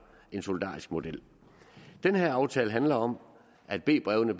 en solidarisk model den her aftale handler om at b brevene